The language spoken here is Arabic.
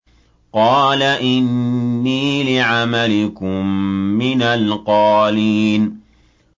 قَالَ إِنِّي لِعَمَلِكُم مِّنَ الْقَالِينَ